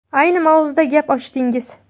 Ayni mavzuda gap ochdingiz.